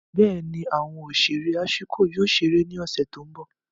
Bẹẹni, awọn oṣere Ashiko yoo ṣere ni ọsẹ ti n bọ.